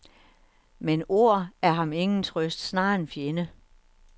Men ord er ham ingen trøst, snarere en fjende.